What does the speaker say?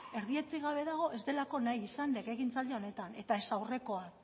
erdietsi gabe dago ez delako nahi izan legegintzaldi honetan eta ez aurrekoan